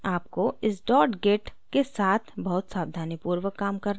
आपको इस dot git के साथ बहुत सावधानीपूर्वक काम करना है